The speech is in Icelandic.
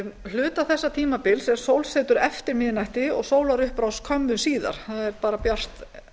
hluta þessa tímabils er sólsetur eftir miðnætti og sólarupprás skömmu síðar það er bjart